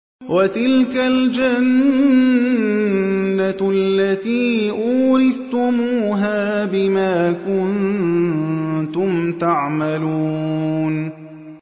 وَتِلْكَ الْجَنَّةُ الَّتِي أُورِثْتُمُوهَا بِمَا كُنتُمْ تَعْمَلُونَ